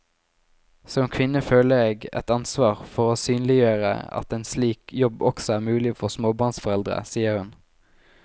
Som kvinne føler jeg et ansvar for å synliggjøre at en slik jobb også er mulig for småbarnsforeldre, sier hun.